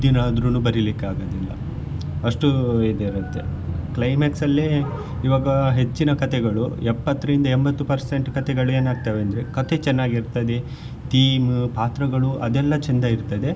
ದಿನಾ ಆದ್ರುನು ಬರಿಲಿಕ್ಕೆ ಆಗುದಿಲ್ಲ ಅಷ್ಟು ಇದ್ ಇರುತ್ತೆ climax ಅಲ್ಲಿ ಇವಾಗ ಹೆಚ್ಚಿನ ಕಥೆಗಳು ಎಪ್ಪತ್ತರಿಂದ ಎಂಬತ್ತು percent ಕಥೆಗಳು ಏನ್ ಆಗ್ತದೆ ಅಂದ್ರೆ ಕಥೆ ಚೆನ್ನಾಗಿ ಇರ್ತದೆ theme ಪಾತ್ರಗಳು ಅದೆಲ್ಲ ಚೆಂದ ಇರ್ತದೆ.